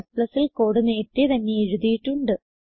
Cൽ code നേരത്തേ തന്നെ എഴുതിയിട്ടുണ്ട്